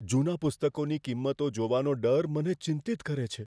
જૂના પુસ્તકોની કિંમતો જોવાનો ડર મને ચિંતિત કરે છે.